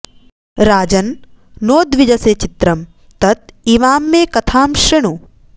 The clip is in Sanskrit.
राजन् नोद्विजसे चित्रं तत् इमां मे कथां सृणु